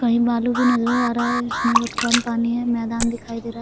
कहीं बालू भी नजर आ रहा है इसमें बहुत कम पानी है मैदान दिखाई दे रहा है।